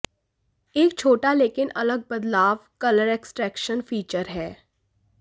एक छोटा लेकिन अलग बदलाव कलर एक्सट्रेक्शन फीचर है